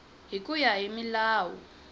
hi ku ya hi milawu